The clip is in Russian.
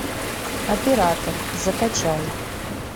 оператор закачай